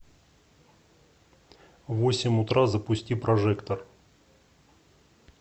в восемь утра запусти прожектор